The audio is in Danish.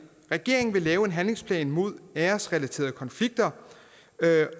regeringen vil lave en handlingsplan mod æresrelaterede konflikter